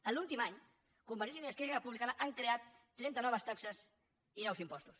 en l’últim any convergència i unió i esquerra repu·blicana han creat trenta noves taxes i nous impostos